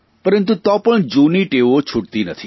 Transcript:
પરંતુ તો પણ જૂની ટેવો છુટતી નથી